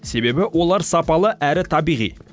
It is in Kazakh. себебі олар сапалы әрі табиғи